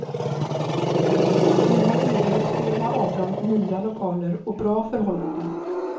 Vi har erbjudit flera av dem nya lokaler och bra förhållanden.